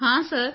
ਹਾਂ ਸਰ